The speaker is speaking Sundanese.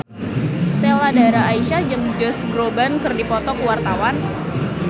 Sheila Dara Aisha jeung Josh Groban keur dipoto ku wartawan